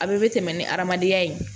A bɛɛ bɛ tɛmɛ ni adamadenya ye